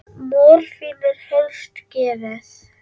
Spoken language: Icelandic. Morfín er helst gefið